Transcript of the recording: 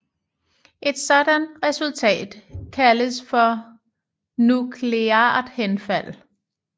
Et sådant resultat kaldes for nukleart henfald